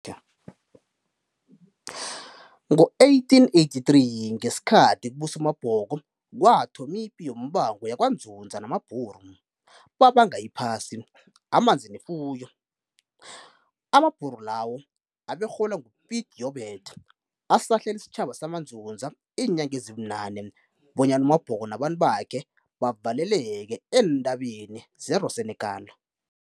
Ngo-1883, ngesikhathi kubusa uMabhongo kwathoma ipiyombango yabakwaNdzundza namabhulu, bebanga iphasi, amanzi nefuyo. Amabhunawo abeholwa ngu-Piet Joubert ahlasela isitjhaba sabandundza iinyanga ezibunane, bonyana uMabhongo nabantu bakhe baveleleke ezintabeni zangase Roossenekal.